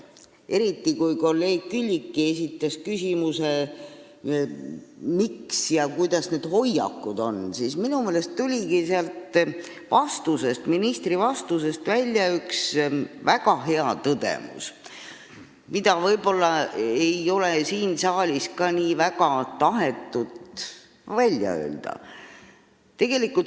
Eriti kui kolleeg Külliki esitas küsimuse, kuidas meil on nende hoiakutega, tuli minu meelest ministri vastusest välja üks väga hea tõdemus, mida ei ole võib-olla ka siin saalis tahetud nii väga välja öelda.